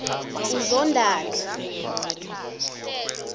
uzondani